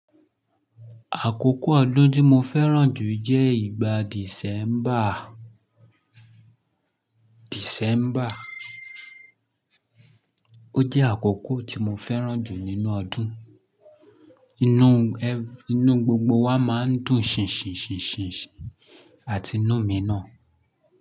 Àkókò ọdún tí mo fẹ́ràn jù jẹ́ ìgbà December. Ó jẹ́ àkókò tí mo fẹ́ràn jù nínú ọdún. Inú inú gbogbo wa máa ń dùn ṣìn ṣìn ṣìn ṣìn ṣìn àti inú mi ná.